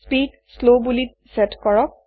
speed slow বুলি chat কৰক